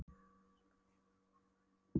Og blessunarlega komu æ færri í heimsókn.